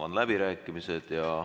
Avan läbirääkimised.